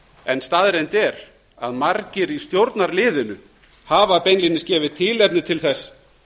en staðreynd er að margir í stjórnarliðinu hafa beinlínis gefið tilefni til þess